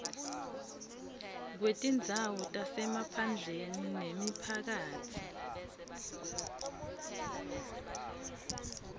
kwetindzawo tasemaphandleni nemiphakatsi